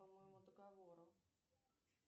по моему договору